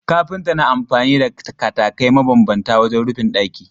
Kafinta na amfani da katakai mabambanta wajen rufin ɗaki.